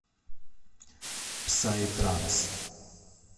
псай транс